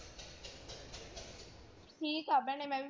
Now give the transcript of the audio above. ਠੀਕ ਆ ਭੈਣੇ ਮੈਂ ਵੀ।